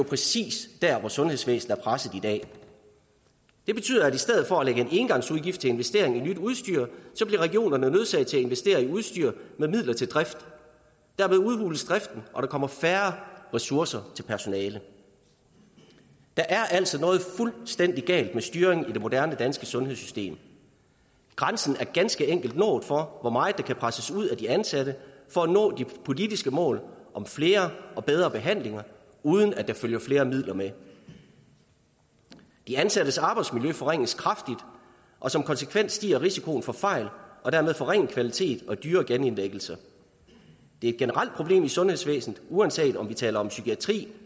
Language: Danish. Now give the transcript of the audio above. præcis der sundhedsvæsenet er presset i dag det betyder at i stedet for at have en engangsudgift til investering i nyt udstyr bliver regionerne nødsaget til at investere i udstyr med midler til drift dermed udhules driften og der kommer færre ressourcer til personalet der er altså noget fuldstændig galt med styringen i det moderne danske sundhedssystem grænsen er ganske enkelt nået for hvor meget der kan presses ud af de ansatte for at nå de politiske mål om flere og bedre behandlinger uden at der følger flere midler med de ansattes arbejdsmiljø forringes kraftigt og som konsekvens stiger risikoen for fejl og dermed forringet kvalitet og dyre genindlæggelser det er et generelt problem i sundhedsvæsenet uanset om vi taler om psykiatri